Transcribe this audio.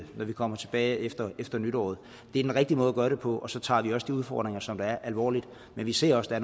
vi kommer tilbage efter efter nytår det er den rigtige måde at gøre det på og så tager vi også de udfordringer som der er alvorligt men vi ser også at